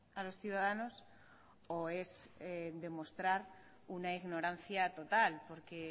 a los ciudadanos o es demostrar una ignorancia total porque